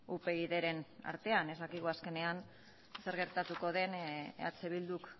upydren artean ez dakigu azkenean zer gertatuko den eh bilduk